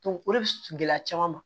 o de bi gɛlɛya caman ma